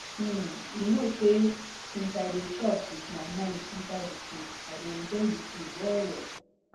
hmm you know say since i dey chop with my mind inside the food i de enjoy the food wellwell